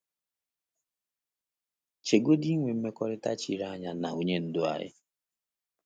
Chegodi inwe mmekọrịta chiri anya na Onye Ndu anyị!